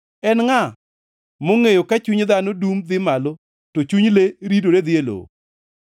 En ngʼa mongʼeyo ka chuny dhano dum dhi malo to chuny le ridore dhi e lowo?”